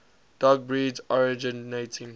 dog breeds originating